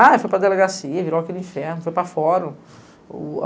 Ah, foi para a delegacia, virou aquele inferno, foi para fora.